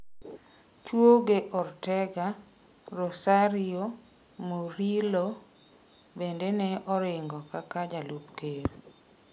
Chuege Ortega, Rosario Murillo bende ne oringo kaka jalup ker.